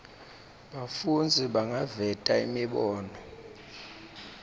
bafundzi bangaveta imibono